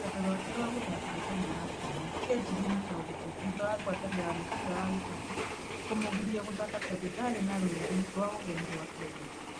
Rũgendo rũake rwa gũthakĩra timũ ya bũrũri kĩanjirie na kaũritũ thutha wa ngwatanĩro ya mũbira wa gĩkabũ kũmũgiria gũthaka tondũ ndarĩ na rũũri rwa ũgeni rwa Kenya.